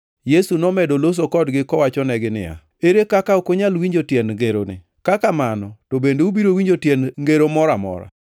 Yesu nomedo loso kodgi kowachonegi niya, “Ere kaka ok unyal winjo tiend ngeroni? Ka kamano to bende ubiro winjo tiend ngero moro amora?